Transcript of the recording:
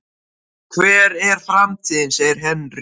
Hver er framtíðin? segir Henry.